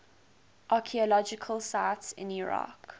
archaeological sites in iraq